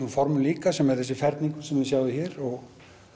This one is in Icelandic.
formum líka sem er þessi ferningur sem þið sjáið hér og